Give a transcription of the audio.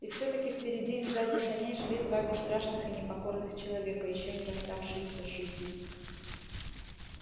и всё таки впереди и сзади саней шли два бесстрашных и непокорных человека ещё не расставшиеся с жизнью